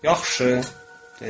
Yaxşı, dedi.